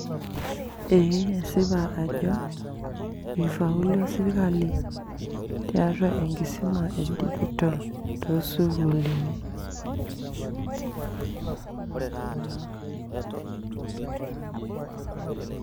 Eeh esipa ajo eifauluo sirkali te enkisuma e dijital too sukuuluni.